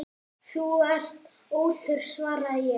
Þú ert óþörf, svaraði ég.